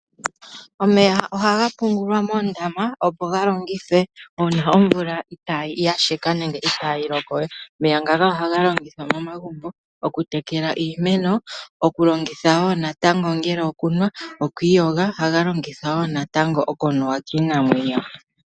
Omeya ohaga pungulwa moondama opo galongithwe uuna omvula yasheka nenge itaayi lokowe omeya ngaka ohaga longithwa momagumbo okutekela iimeno, okulongitha woo natango ongele okunwa, okwiiyoga ohaga longithwa woo natango okunuwa kiinamwenyo.